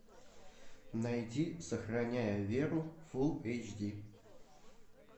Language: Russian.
найди сохраняя веру фулл эйч ди